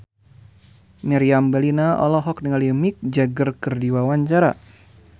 Meriam Bellina olohok ningali Mick Jagger keur diwawancara